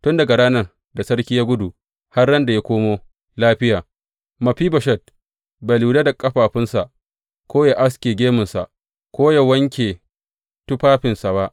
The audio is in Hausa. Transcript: Tun daga ranar da sarki ya gudu har ran da ya komo lafiya, Mefiboshet bai lura da ƙafafunsa, ko yă aske gemunsa, ko yă wanke tufafinsa ba.